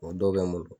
O dɔw bɛ n bolo